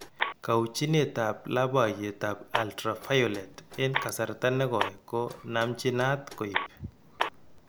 Kauchinet ab labaiyet ab ultraviolet en kasarta negoi ko namchinat koib